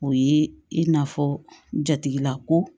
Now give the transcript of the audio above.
O ye i n'a fɔ jatigilako